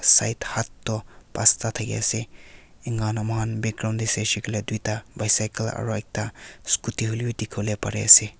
side hatt toh pasta thakia ase ena hoi ne moi khan background te sai shey koile tuita bicycle aru ekta scooty hoi lebi dikhi wole pari ase.